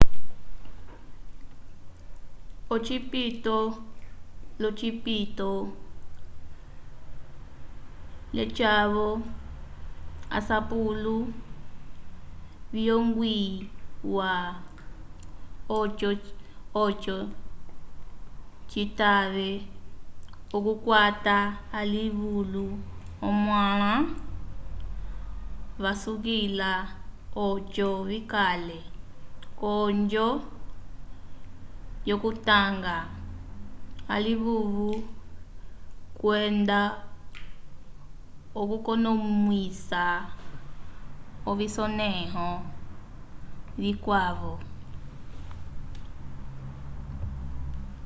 ocipito l'ocipito lyeca-vo asapulo viyongwiwa oco citave okukwata alivulu omãla vasukila oco vikale k'onjo yokutanga alivulu kwenda okukonomwisa ovisonẽho vikwavo